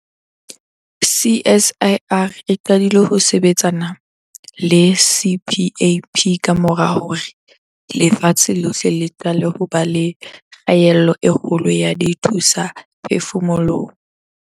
CSIR e qadile ho sebetsana le CPAP kamora hore lefatshe lohle le qale ho ba le kgaello e kgolo ya dithusaphefumoloho.